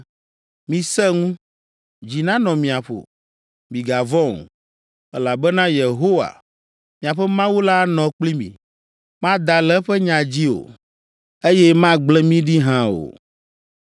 Misẽ ŋu! Dzi nanɔ mia ƒo! Migavɔ̃ o, elabena Yehowa, miaƒe Mawu la anɔ kpli mi. Mada le eƒe nya dzi o, eye magblẽ mi ɖi hã o.”